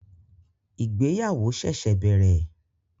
Ìgbéyàwó ṣẹ̀ṣẹ̀ bẹ̀rẹ̀